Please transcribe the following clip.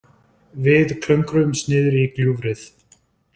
Við klöngruðumst niður í gljúfrið.